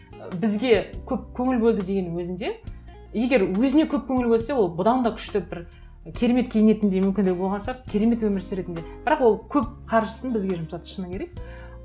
і бізге көп көңіл бөлді дегеннің өзінде егер өзіне көп көңіл бөлсе ол бұдан да күшті бір керемет киінетіндей мүмкіндігі болған шығар керемет өмір сүретіндей бірақ ол көп қаржысын бізге жұмсады шыны керек